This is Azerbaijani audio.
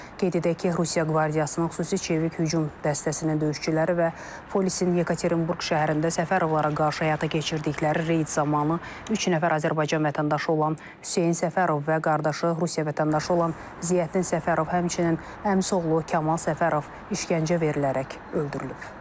Qeyd edək ki, Rusiya qvardiyasının xüsusi çevik hücum dəstəsinin döyüşçüləri və polisin Yekaterinburq şəhərində Səfərovlara qarşı həyata keçirdikləri reyd zamanı üç nəfər Azərbaycan vətəndaşı olan Hüseyn Səfərov və qardaşı Rusiya vətəndaşı olan Ziyaəddin Səfərov, həmçinin əmisi oğlu Kamal Səfərov işgəncə verilərək öldürülüb.